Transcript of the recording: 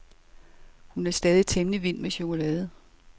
Hun er stadig temmelig vild med chokolade.